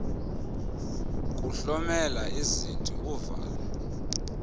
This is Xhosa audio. kuhlomela izinti uvala